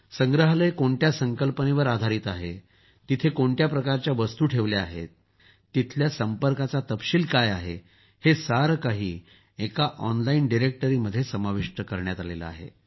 संग्रहालय कोणत्या संकल्पनेवर आधारित आहे तेथे कोणत्या प्रकारच्या वस्तु ठेवल्या आहेत तेथील संपर्काचा तपशील काय आहे हे सारे काही एक ऑनलाईन डिरेक्टरीमध्ये समाविष्ट केले आहे